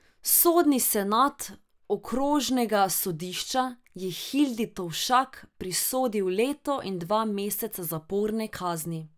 Sodni senat okrožnega sodišča je Hildi Tovšak prisodil leto in dva meseca zaporne kazni.